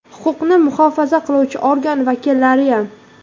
Huquqni muhofaza qiluvchi organ vakillariyam.